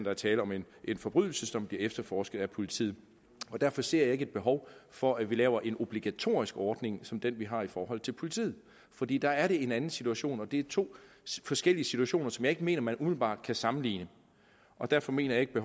er tale om en forbrydelse som bliver efterforsket af politiet derfor ser jeg ikke et behov for at vi laver en obligatorisk ordning som den vi har i forhold til politiet fordi der er det en anden situation og det er to forskellige situationer som jeg mener man umiddelbart kan sammenligne og derfor mener jeg ikke